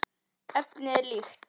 Efnið er líkt.